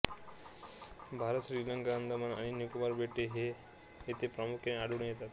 भारत श्रीलंका अंदमान आणि निकोबार बेटे येथे प्रामुख्याने आढळून येतात